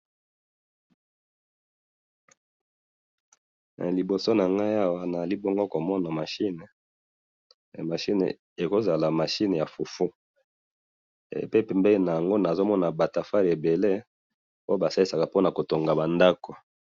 Liboso na ngai awa nazali bongo komona machine, machine ekoo zala machine ya fufu pe pembeni na yango nazo mona ba tafali ebele oyo ba salisaka po nako tonga ba ndaku na yango